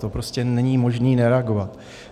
To prostě není možné nereagovat.